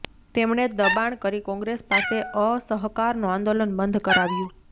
તેમણે દબાણ કરી કોંગ્રેસ પાસે અસહકારનું આંદોલન બંધ કરાવ્યું